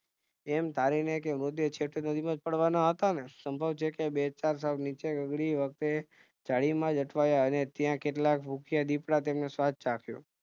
એમ ધારી ને કે છેવટે નદીમાંજ પાડવાના હતાને સંભવ છે કે બે ચાર સૌ નીચે વખતે જાડીમાંજ અટવાયા અને ત્યાં કેટલાક ભૂખ્યા દીપડાઓએ તેમનો સ્વાદ ચાખ્યો